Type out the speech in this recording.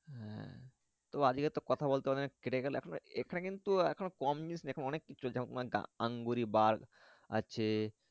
হ্যাঁ তবে আজকে একটা কথা বলতে কেটে গেলো এখানে কিন্তু অনেক কম জিনিস নয় অনেক কিছু চলছে আছে